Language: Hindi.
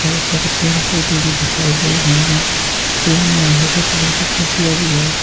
बहुत सारे पेड़ पौधे भी दिखाई दे रहे हैं पेड़ में हरे कलर की पत्तियाँ भी हैं।